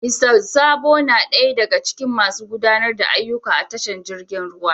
Mista Sabo na daya daga cikin masu gudanar da ayyuka a tashar jirgi ruwan.